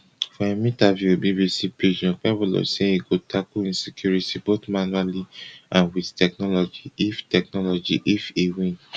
for im interview wit bbc pidgin okpebolo say e go tackle insecurity both manually and wit technology if technology if e win